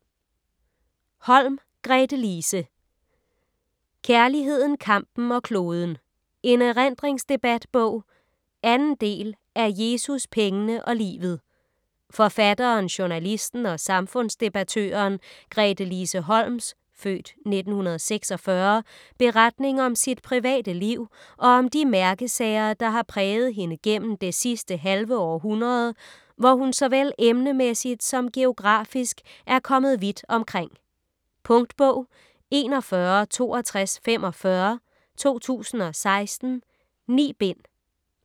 Holm, Gretelise: Kærligheden, kampen og kloden: en erindringsdebatbog 2. del af Jesus, pengene og livet. Forfatteren, journalisten og samfundsdebattøren Gretelise Holms (f. 1946) beretning om sit private liv og om de mærkesager, der har præget hende gennem det sidste halve århundrede, hvor hun såvel emnemæssigt som geografisk er kommet vidt omkring. . Punktbog 416245 2016. 9 bind.